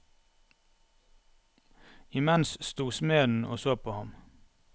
Imens sto smeden og så på ham.